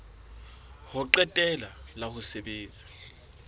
ho qetela la ho sebetsa